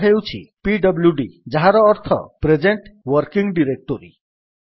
ଏହା ହେଉଛି ପିଡବ୍ଲ୍ୟୁଡି ଯାହାର ଅର୍ଥ ପ୍ରେଜେଣ୍ଟ୍ ୱର୍କିଙ୍ଗ୍ ଡିରେକ୍ଟୋରୀ